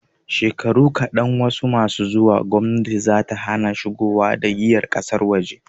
Shekaru kaɗan masu zuwa, gomnati zata hana shigowa da giyar ƙasar waje.